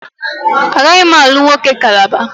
Agaghị m alụ nwoke Calabar